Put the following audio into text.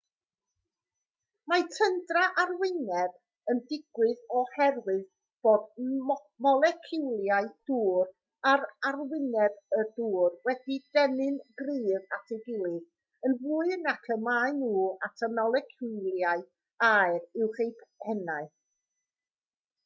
mae tyndra arwyneb yn digwydd oherwydd bod moleciwlau dŵr ar arwyneb y dŵr wedi'u denu'n gryf at ei gilydd yn fwy nac y maen nhw at y moleciwlau aer uwch eu pennau